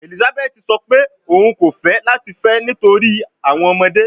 Elizabeth sọ pe oun ko fẹ lati fẹ nitori awọn ọmọde